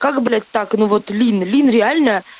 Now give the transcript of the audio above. как блять так ну вот лин лин реально